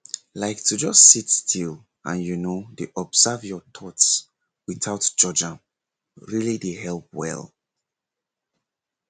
like to just sit still and you know dey watch your thoughts without judge am really dey help well